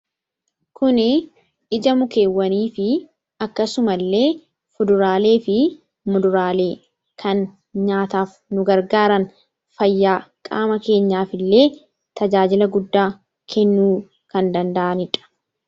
Kun ija mukeewwanii fi akkasumallee kuduraalee fi muduraalee kan nyaataaf nu gargaaran, fayyaa qaama keenyaaf illee tajaajila guddaa kennuu kan danda’anidha.